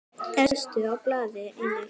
Efstur á blaði einnig hér.